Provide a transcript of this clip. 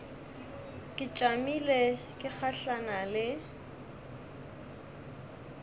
ke tšamile ke gahlana le